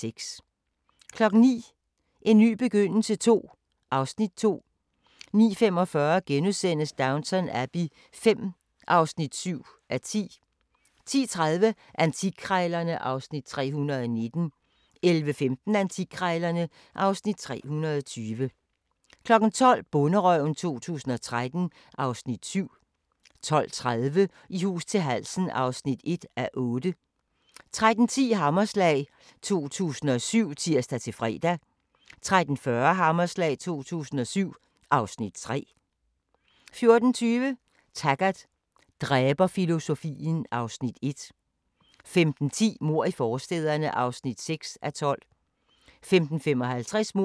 21:00: So F***ing Special: Seje kvinder (3:6) 22:00: Arne Dahls A-gruppen: En skærsommernatsdrøm (1:2) 22:55: Arne Dahls A-gruppen (2:2) 23:55: Whitechapel: I Jack the Rippers fodspor (Afs. 1) 00:40: Strømerne fra Liverpool (Afs. 10) 01:30: Spooks (Afs. 28) 02:20: Camilla – Boller af stål (Afs. 2) 02:50: Hammerslag 2007 * 03:20: Hammerslag 2007 (Afs. 3)* 03:50: I hus til halsen (1:8)*